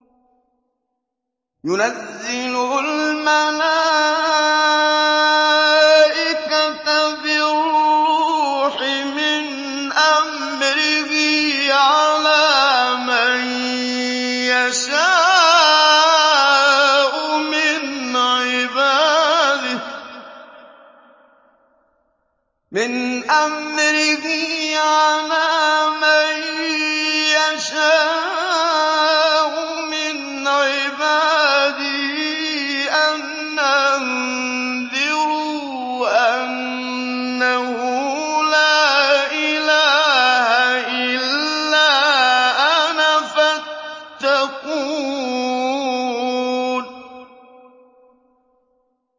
يُنَزِّلُ الْمَلَائِكَةَ بِالرُّوحِ مِنْ أَمْرِهِ عَلَىٰ مَن يَشَاءُ مِنْ عِبَادِهِ أَنْ أَنذِرُوا أَنَّهُ لَا إِلَٰهَ إِلَّا أَنَا فَاتَّقُونِ